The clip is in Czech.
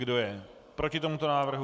Kdo je proti tomuto návrhu?